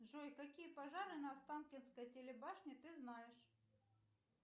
джой какие пожары на останкинской телебашне ты знаешь